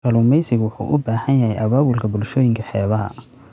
Kalluumeysigu wuxuu u baahan yahay abaabulka bulshooyinka xeebaha.